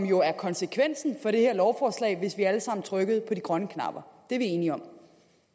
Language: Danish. jo konsekvensen af det her lovforslag hvis vi alle sammen trykkede på de grønne knapper det er vi enige om